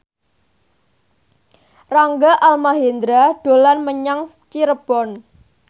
Rangga Almahendra dolan menyang Cirebon